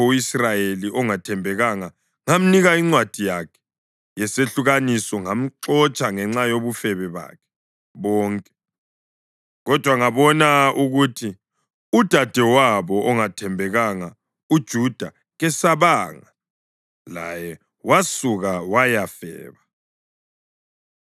U-Israyeli ongathembekanga ngamnika incwadi yakhe yesehlukaniso ngamxotsha ngenxa yobufebe bakhe bonke. Kodwa ngabona ukuthi udadewabo ongathembekanga, uJuda, kesabanga, laye wasuka wayafeba.